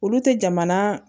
Olu tɛ jamana